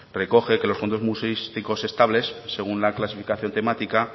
recoge que los fondos museísticos estables según la clasificación temática